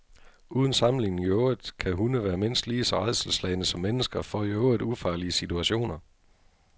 Uden sammenligning i øvrigt kan hunde være mindst lige så rædselsslagne som mennesker for i øvrigt ufarlige situationer.